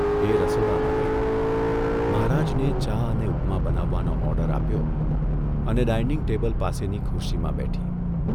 એ રસોડામાં ગઇ, મહારાજને ચા અને ઉપમા બનાવવાનો ઓર્ડર આપ્યો અને ડાઇનિંગ ટેબલ પાસેની ખુરશીમાં બેઠી.